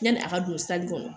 Yanni a ka don sali kɔnɔ